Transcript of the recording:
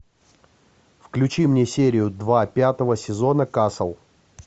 включи мне серию два пятого сезона касл